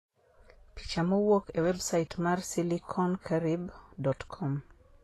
(Picha mowuok e websait mar SiliconCaribe.com)